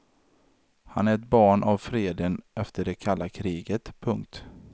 Han är ett barn av freden efter det kalla kriget. punkt